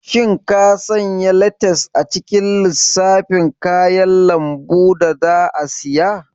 Shin ka sanya letas a cikin lissafin kayan lambu da za a siya?